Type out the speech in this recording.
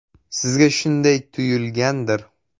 “Sizga shunday tuyulgandir.